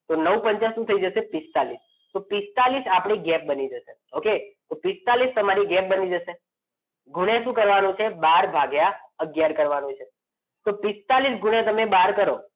તો નવ નવ પંચા શું થઈ જશે પિસ્તાડિસ તો પિસ્તાડિસ આપણે ગેપ બની શકે okay તો પિસ્તાડિસ તમારી ગેપબની જશે ગુણ્યા શું કરવાનું છે બાર ભાગ્ય આગયાર કરવાનું છે તો પિસ્તાદીસ ગુણ્યા તમારે બાર કરો